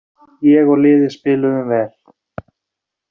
Ég og liðið spiluðum vel.